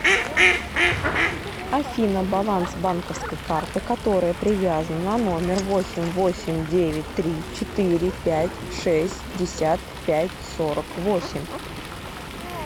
афина баланс банковской карты которая привязана на номер восемь восемь девять три четыре пять шестьдесят пять сорок восемь